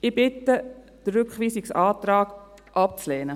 Ich bitte darum, den Rückweisungsantrag abzulehnen.